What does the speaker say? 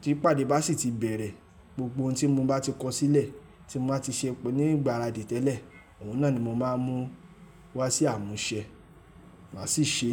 Tí ìpàdé bá sì ti bẹ̀rẹ̀, gbogbo ohun tí mo bá ti kọ sílẹ̀, tí mo bá ti ṣe ní ìgbáradì tẹ́lẹ̀, òun náà ni mo máa mú wá sí àmúṣẹ. Màá sì ṣe.